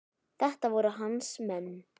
Þetta voru hans menn.